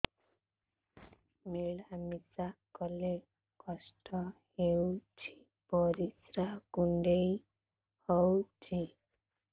ମିଳା ମିଶା କଲେ କଷ୍ଟ ହେଉଚି ପରିସ୍ରା କୁଣ୍ଡେଇ ହଉଚି